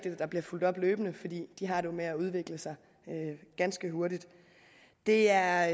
at der bliver fulgt op løbende fordi de jo har det med at udvikle sig ganske hurtigt det er